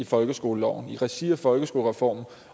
folkeskoleloven i regi af folkeskolereformen